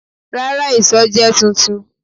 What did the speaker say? Rara, iṣọ jẹ tuntun